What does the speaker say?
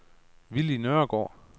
Willy Nørgaard